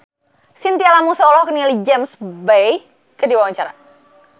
Chintya Lamusu olohok ningali James Bay keur diwawancara